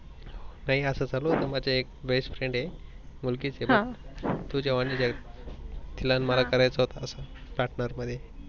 नाही अस चालू आहे माझ एक Best friend आहे मुलगीच ह तुझ्या वनी तिला मला करायेच होत अस Partner मध्ये.